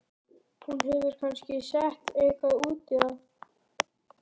Hún hefur kannski sett eitthvað út í það.